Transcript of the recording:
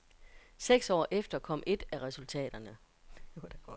Seks år efter kom et af resultaterne.